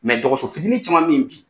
dɔgɔso fitinin caman bɛ ye bi.